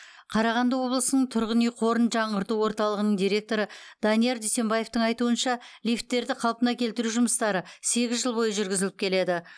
қарағанды облысының тұрғын үй қорын жаңғырту орталығының директоры данияр дүйсембаевтың айтуынша лифттерді қалпына келтіру жұмыстары сегіз жыл бойы жүргізіліп келеді